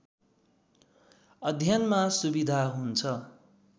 अध्ययनमा सुविधा हुन्छ।